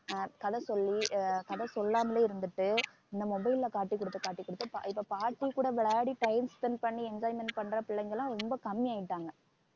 ஆஹ் கதை சொல்லி கதை சொல்லாமலே இருந்துட்டு இந்த mobile ல காட்டிக் கொடுத்து காட்டிக் கொடுத்து இப்ப பா~ பாட்டி கூட விளையாடி time spend பண்ணி enjoyment பண்ற பிள்ளைங்க எல்லாம் ரொம்ப கம்மி ஆயிட்டாங்க